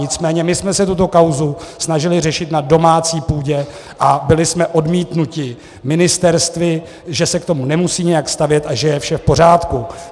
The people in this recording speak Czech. Nicméně my jsme se tuto kauzu snažili řešit na domácí půdě a byli jsme odmítnuti ministerstvy, že se k tomu nemusí nijak stavět a že je vše v pořádku.